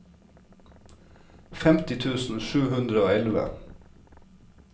femti tusen sju hundre og elleve